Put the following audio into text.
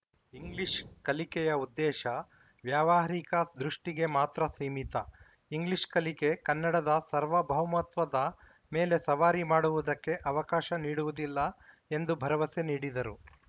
English ಕಲಿಕೆಯ ಉದ್ದೇಶ ವ್ಯಾವಹಾರಿಕ ದೃಷ್ಟಿಗೆ ಮಾತ್ರ ಸೀಮಿತ ಇಂಗ್ಲಿಷ್‌ ಕಲಿಕೆ ಕನ್ನಡದ ಸಾರ್ವಭೌಮತ್ವದ ಮೇಲೆ ಸವಾರಿ ಮಾಡುವುದಕ್ಕೆ ಅವಕಾಶ ನೀಡುವುದಿಲ್ಲ ಎಂದು ಭರವಸೆ ನೀಡಿದರು